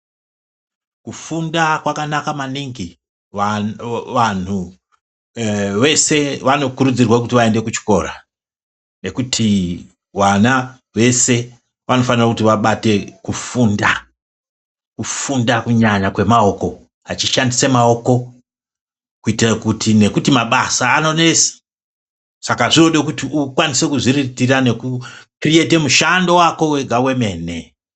Kufunda kwakanaka maningi vantu vese vanokurudzirwa kuti vaende kuchikora nekuti vana vese vanofanira kuti vabate kufunda, kufunda kunyanya kwemaoko vachishandise maoko kuitire kuti nekuti mabasa anonesa saka zvinode kuti ukwanise kuzviriritira nokukiriyeta mushando wako wega wemene.